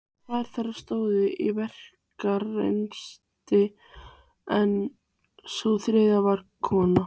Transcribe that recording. Tvær þeirra stóðu í verslunarrekstri en sú þriðja var kona